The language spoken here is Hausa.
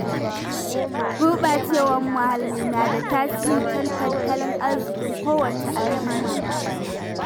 Gurɓacewar muhalli na da tasiri kan tattalin arzikin kowace al'umma.